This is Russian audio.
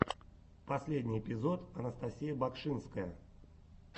последний эпизод анастасия багшинская